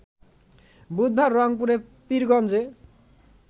বুধবার রংপুরের পীরগঞ্জে